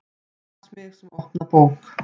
Las mig sem opna bók.